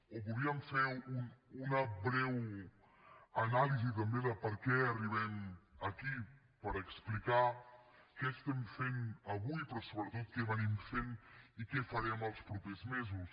o volíem fer una breu anàlisi també de per què arribem aquí per explicar què estem fent avui però sobretot que hem estat fent i què farem els propers mesos